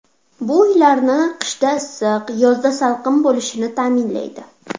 Bu uylarni qishda issiq, yozda salqin bo‘lishini ta’minlaydi.